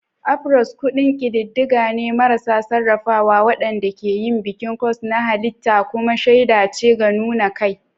Afros kundin ƙididdiga ne marasa sarrafawa waɗanda ke yin bikin curls na halitta kuma shaida ce ga nuna kai.